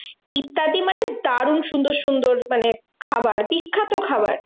ইত্যাদি মানে দারুন সুন্দর সুন্দর মানে খাবার বিখ্যাত খাবার।